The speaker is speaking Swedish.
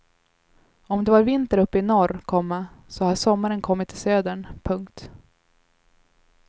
Om det var vinter uppe i norr, komma så har sommaren kommit till södern. punkt